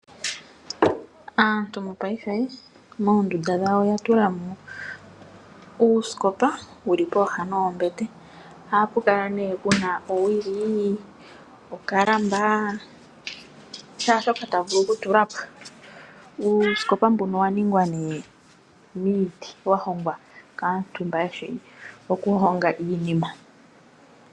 Aantu mopayife moondunda dhawo oya tula mo uusikopa wu li pooha dhombete. Ohapu kala pu na owili, okalamba nashaashoka ta vulu okutula po. Uusikopa mbuka owa ningwa miiti wa hongwa kaantu mboka ye shi okuhonga iinima.